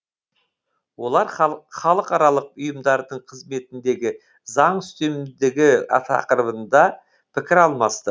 олар халықаралық ұйымдардың қызметіндегі заң үстемдігі тақырыбында пікір алмасты